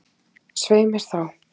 Svei mér þá